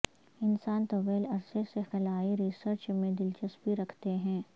انسان طویل عرصے سے خلائی ریسرچ میں دلچسپی رکھتے ہیں